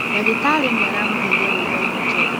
Dagĩtarĩ nĩaramũheire rũũtha ainũke.